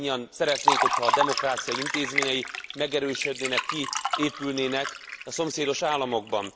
Mindannyian szeretnénk, ha a demokrácia intézményei megerősödnének, kiépülnének a szomszédos államokban.